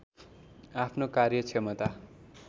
आफ्नो कार्यक्षमता